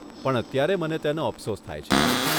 પણ અત્યારે મને તેનો અફસોસ થાય છે.